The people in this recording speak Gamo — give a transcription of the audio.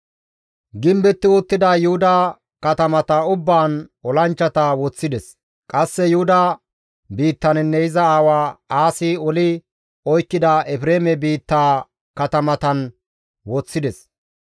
Gimbetti uttida Yuhuda katamata ubbaan olanchchata woththides; qasse Yuhuda biittaninne iza aawa Aasi oli oykkida Efreeme biittaa katamatan woththides.